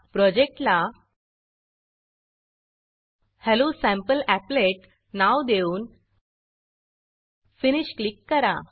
प्रोजेक्टला hello sample applet hello sample applet नाव देऊन फिनिश फिनिश क्लिक करा